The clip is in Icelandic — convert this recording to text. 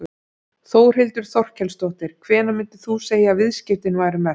Þórhildur Þorkelsdóttir: Hvenær myndir þú segja að viðskiptin væru mest?